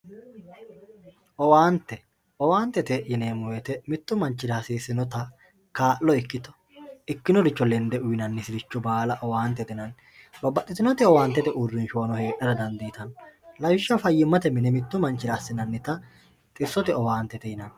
Owaante, owaantete yineemo woyite mitu manchira hasisinota kaalo ikkito ikkinoricho lende uyinanisire baala owaantete yinanni, babaxitinoti owaantete uurinshubanno heerate danditanno lawishaho fayyimate mine mitu manichira assinanita xisote owaante yinnanni